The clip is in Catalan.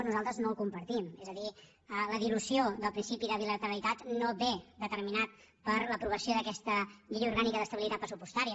nosaltres no ho compartim és a dir la dilució del principi de bilateralitat no ve determinat per l’aprovació d’aquesta llei orgànica d’estabilitat pressupostària